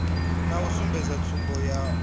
na u sumbedza tsumbo yavhui